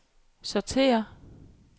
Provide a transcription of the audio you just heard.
sortér